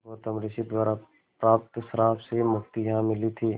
गौतम ऋषि द्वारा प्राप्त श्राप से मुक्ति यहाँ मिली थी